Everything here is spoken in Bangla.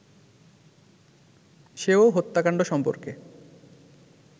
সেও হত্যাকান্ড সম্পর্কে